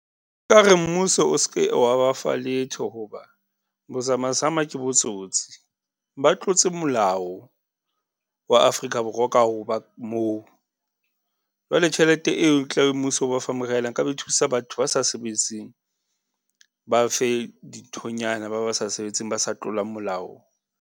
Nka re mmuso o s'ke wa ba fa letho hoba bozamazama ke botsotsi. Ba tlotse molao wa Afrika Borwa ka ho ba moo, jwale tjhelete eo tlabe mmuso o ba fa moriana, nka be e thusa batho ba sa sebetseng, ba fe dinthonyana, ba ba sa sebetseng ba sa tlolang molao.